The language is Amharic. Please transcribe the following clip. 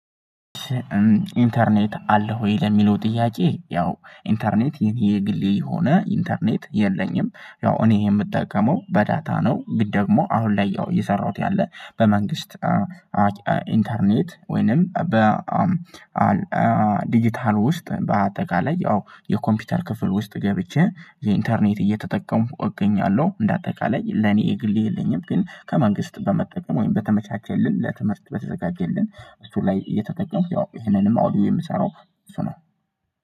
ኢንተርኔት አለህ ወይ ለሚለው ጥያቄ? ያው ኢንተርኔት የግሌ የሆነ ኢንተርኔት የለኝም ያው እኔ የምጠቀመው በዳታ ነው ግን ደግሞ አሁን ላይ የሰራሁት ያለ በመንግስት። ኢንተርኔት ወይንም በዲጂታል ውስጥ በአጠቃላይ ያው የኮምፒውተር ክፍል ውስጥ ገብቼ የኢንተርኔት እየተጠቀሙ እገኛለሁ እንደ አጠቃላይ ለኔ የግሌ የለኝም። ግን ከመንግስት በመጠቀም ወይም በተመቻቸልን ለትምህርት በተዘጋጀልን እሱ ላይ እየተጠቀምኩ ያው ይሄንንም አውዲዎ የምሰራው እሱ ነው።